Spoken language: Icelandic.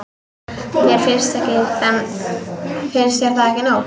Finnst þér það ekki nóg?